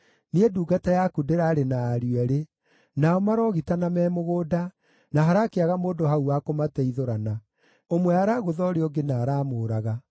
Niĩ ndungata yaku ndĩrarĩ na ariũ eerĩ. Nao maroogitana me mũgũnda, na harakĩaga mũndũ hau wa kũmateithũrana. Ũmwe aragũtha ũrĩa ũngĩ na aramũũraga.